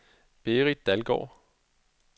Berit Dalgaard